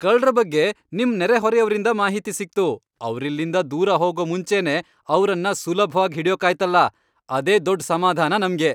ಕಳ್ರ ಬಗ್ಗೆ ನಿಮ್ ನೆರೆಹೊರೆಯವ್ರಿಂದ ಮಾಹಿತಿ ಸಿಕ್ತು, ಅವ್ರಿಲ್ಲಿಂದ ದೂರ ಹೋಗೋ ಮುಂಚೆನೇ ಅವ್ರನ್ನ ಸುಲಭ್ವಾಗ್ ಹಿಡ್ಯೋಕಾಯ್ತಲ, ಅದೇ ದೊಡ್ಡ್ ಸಮಾಧಾನ ನಮ್ಗೆ.